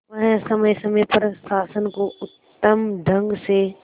वह समय समय पर शासन को उत्तम ढंग से